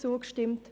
zugestimmt.